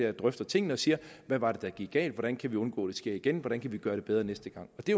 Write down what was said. og drøfter tingene og siger hvad var det der gik galt hvordan kan vi undgå sker igen hvordan kan vi gøre det bedre næste gang og det